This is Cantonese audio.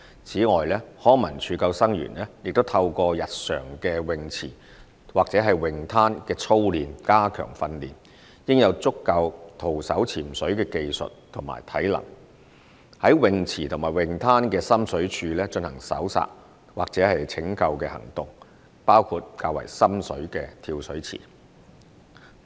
此外，康文署救生員也透過日常於泳池或泳灘的操練加強培訓，應有足夠徒手潛水的技術及體能，在泳池和泳灘的深水處進行搜索或拯救行動，包括較為深水的跳水池。